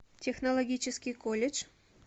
технологический колледж